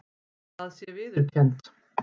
Það sé viðurkennt